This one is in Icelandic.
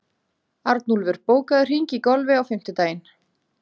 Arnúlfur, bókaðu hring í golf á fimmtudaginn.